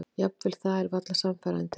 Jafnvel það er varla sannfærandi.